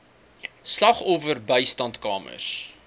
slagoffer bystandskamers